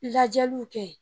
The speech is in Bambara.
Lajɛliw kɛ